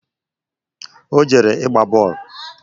O jere ịgba boolu